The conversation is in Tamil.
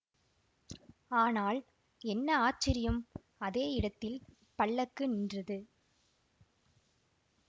ஆனால் என்ன ஆச்சரியம் அதே இடத்தில் பல்லக்கு நின்றது